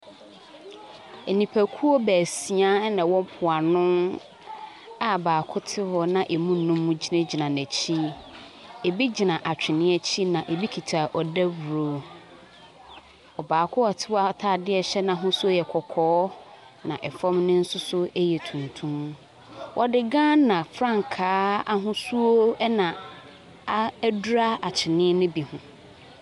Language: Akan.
Nipakuo baasia na wɔwɔ mpoano a baako te hɔ na ɛmu num gyinagyina n'akyi. Ɛbi gyina atwene akyi, na ɛbi kita dawuro. Baako a ɔte hɔ atadeɛ a ɛhyɛ no ahosuo yɛ kɔkɔɔ, na fam no nso so yɛ tuntum. Wɔde Ghana frankaa ahosuo, ɛna a adura atwene no bi ho.